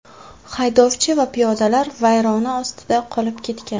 Haydovchi va piyodalar vayrona ostida qolib ketgan.